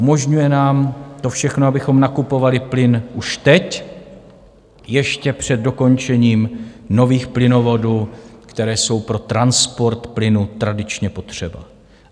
Umožňuje nám to všechno, abychom nakupovali plyn už teď, ještě před dokončením nových plynovodů, které jsou pro transport plynu tradičně potřeba.